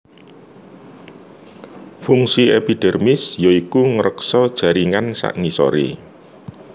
Fungsi epidermis ya iku ngreksa jaringan sangisoré